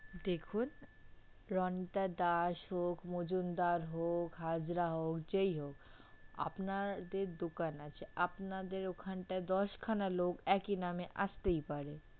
দেখুন, রণিত দাস হোক মজুমদার হোক হাজরা হোক যেই হোক আপনাদের দোকান আছে আপনাদের ওখানটায় দশখানা লোক একই নামে আসতেই পারে।